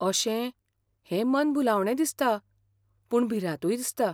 अशें? हें मनभुलावणें दिसता, पूण भिरांतूय दिसता.